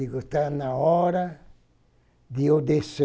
Estava na hora de eu descer.